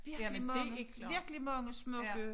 Virkelig mange virkelig mange smukke